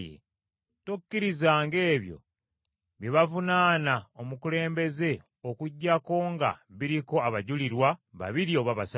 Tokkirizanga ebyo bye bavunaana omukulembeze okuggyako nga biriko abajulirwa babiri oba basatu.